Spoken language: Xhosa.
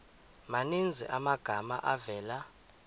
maninzi amagama avela